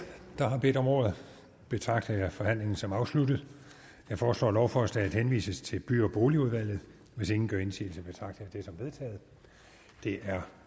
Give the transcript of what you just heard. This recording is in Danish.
der har bedt om ordet betragter jeg forhandlingen som afsluttet jeg foreslår at lovforslaget henvises til by og boligudvalget hvis ingen gør indsigelse betragter jeg det som vedtaget det er